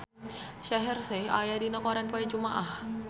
Shaheer Sheikh aya dina koran poe Jumaah